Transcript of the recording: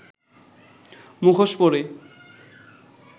মুখোশ পরে